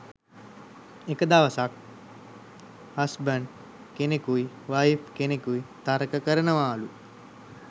එක දවසක් හස්බන්ඩ් කෙනෙකුයි වයිෆ් කෙනෙකුයි තර්ක කරනවලු